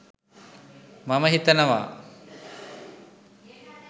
මම හිතනවා.